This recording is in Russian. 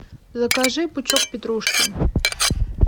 закажи пучок петрушки